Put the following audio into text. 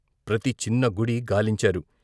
ప్రతి చిన్న గుడి గాలించారు.